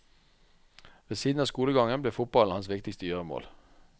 Ved siden av skolegangen ble fotballen hans viktigste gjøremål.